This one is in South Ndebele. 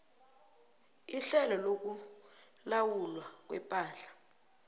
ihlelo lokulawulwa kwepahla